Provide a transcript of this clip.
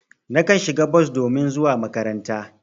Nakan shiga bos domin zuwa makaranta.